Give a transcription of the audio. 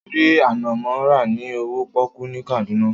Mo rí ànànmọ́ rà ní owó pọ́kú ní Kaduna.